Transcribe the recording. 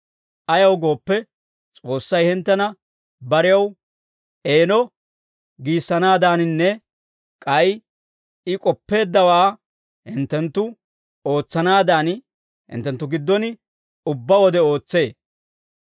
Ayaw gooppe, S'oossay hinttena barew eeno giissanaadaaninne k'ay I k'oppeeddawaa hinttenttu ootsanaadan hinttenttu giddon ubbaa wode ootsee.